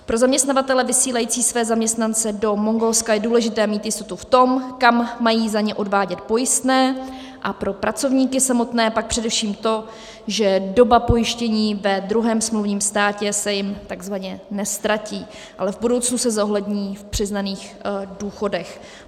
Pro zaměstnavatele vysílající své zaměstnance do Mongolska je důležité mít jistotu v tom, kam mají za ně odvádět pojistné, a pro pracovníky samotné pak především to, že doba pojištění ve druhém smluvním státě se jim takzvaně neztratí, ale v budoucnu se zohlední v přiznaných důchodech.